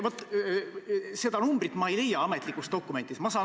Vaat seda numbrit ma ametlikest dokumentidest ei leia.